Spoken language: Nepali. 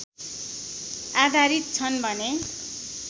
आधारित छन् भने